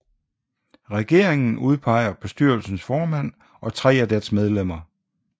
Regeringen udpeger bestyrelsens formand og tre af dets medlemmer